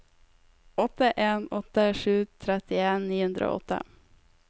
åtte en åtte sju trettien ni hundre og åtte